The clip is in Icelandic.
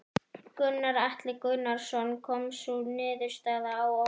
Gunnar Atli Gunnarsson: Kom sú niðurstaða á óvart?